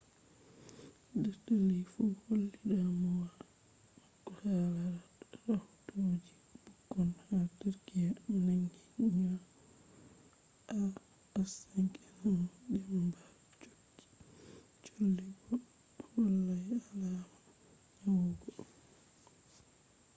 dr. lee fu holli damuwa mako hala rahotoji bukkon ha turkiyya nangi nyau ah5n1 damba cholli bo be hollai alama nyawugo